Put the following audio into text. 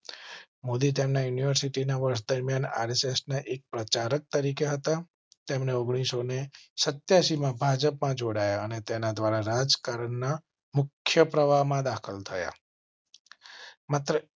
મોદી તેમના યુનિવર્સિટી ના વર્તમાન ર્સ ને એક પ્રચારક તરીકે હતા. તેમણે ઓગણીસ અને સત્યા સી માં ભાજપમાં જોડાયા અને તેના દ્વારા રાજકારણના મુખ્ય પ્રવાહ માં દાખલ થયા.